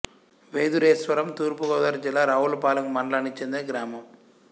వెదురేశ్వరం తూర్పు గోదావరి జిల్లా రావులపాలెం మండలానికి చెందిన గ్రామం